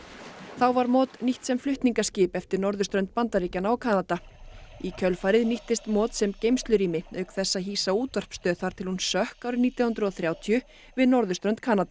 var nýtt sem flutningaskip eftir norðurströnd Bandaríkjanna og Kanada í kjölfarið nýttist sem geymslurými auk þess að hýsa útvarpsstöð þar til hún sökk árið nítján hundruð og þrjátíu við norðurströnd Kanada